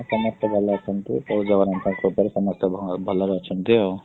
ସମସ୍ତେ ଭଲ ଅଛନ୍ତି ପ୍ରଭୁ ଜଗନ୍ନାଥଙ୍କ କୃପାରୁ ସମସ୍ତେ ଭଲରେ ଅଛନ୍ତି ଆଉ।